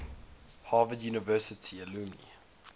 harvard university alumni